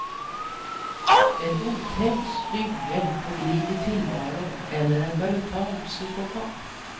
En otämjd slyngel på glid i tillvaron eller en brutal psykopat.